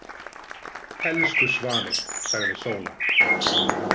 Elsku svanir, sagði Sóla. „